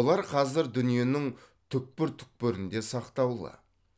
олар қазір дүниенің түкпір түкпірінде сақтаулы